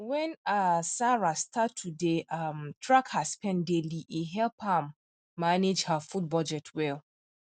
when um sarah start to dey um track her spend daily e help um am manage her food budget well